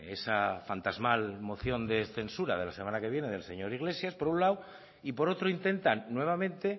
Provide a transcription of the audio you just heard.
esa fantasmal moción de censura de la semana que viene del señor iglesias por un lado y por otro intentan nuevamente